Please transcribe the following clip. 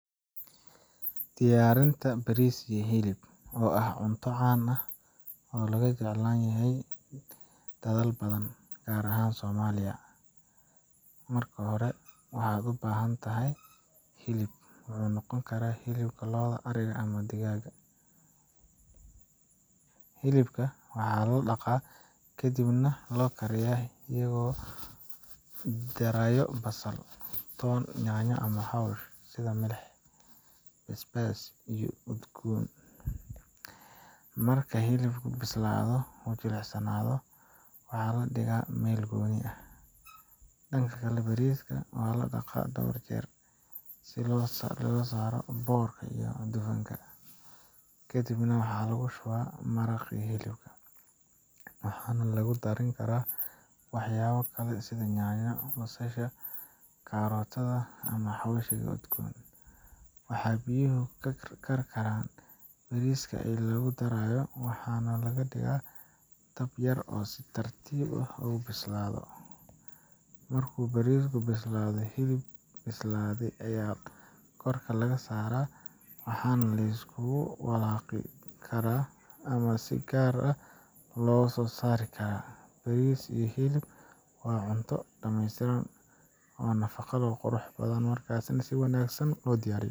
Diyaarinta bariis iyo hilib, oo ah cunto caan ah oo aad looga jeclaan yahay dalal badan, gaar ahaan Soomaaliya. Marka hore, waxaad u baahan tahay hilib wuxuu noqon karaa hilib lo', ari ama digaaga. Hilibka waa la dhaqaa kadibna waa la kariyaa iyagoo lagu darayo basal, toon, yaanyo iyo xawaash sida milix, basbaas, iyo udgoon. Marka hilibku bislaado oo uu jilicsanaado, waa la dhigaa meel gooni ah. Dhanka kale, bariiska waa la dhaqaa dhowr jeer si loo saaro boorka iyo dufanka. Kadib waxaa la shubaa maraqii hilibka, waxaana lagu darin karaa waxyaabo kale sida yaanyo, basasha, karootada, ama xawaashyo udgoon. Marka biyuhu karkaraan, bariiska ayaa lagu darayaa waxaana la dhigaa dab yar si uu si tartiib ah ugu bislaado. Markuu bariisku bislaado, hilib bislaaday ayaa korka lagu darayaa, waana la isku walaaqi karaa ama si gaar ah loo saari karaa. Bariis iyo hilib waa cunto dhameystiran, nafaqo leh, oo aad u qurux badan marka si wanaagsan loo diyaariyo.